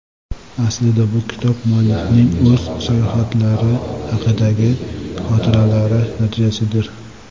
Aslida bu kitob muallifning o‘z sayohatlari haqidagi xotiralari natijasidir.